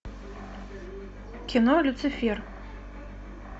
кино люцифер